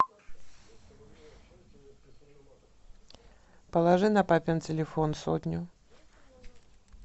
положи на папин телефон сотню